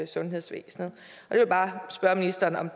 sundhedsvæsenet jeg vil bare spørge ministeren om